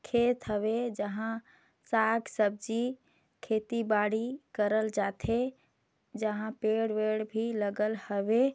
खेत हवै जहाँ साग सब्जी खेती बाड़ी करल जाथे जहाँ पेड़-वेड भी लगल हवै।